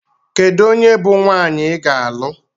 Kedu onye bụ nwaanyị ị ga-alụ?